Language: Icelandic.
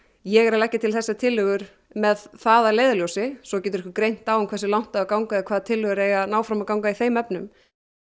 ég er að leggja til þessar tillögur með það að leiðarljósi svo getur okkur greint á hversu langt á að ganga eða hvaða tillögur eiga að ná fram að ganga í þeim efnum